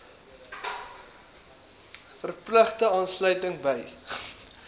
verpligte aansluiting by